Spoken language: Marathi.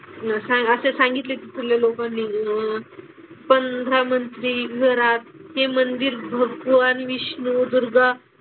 असे सांगितले की पंधरा मंदिर विवरात. हे मंदिर भगवान विष्णू, दुर्गा,